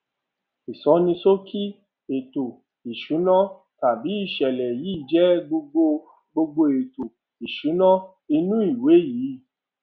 ìsọníṣókí ètò ìsúná tábìlì ìṣẹlẹ yìí jé gbogbo gbogbo ètò ìsúná inú ìwé yii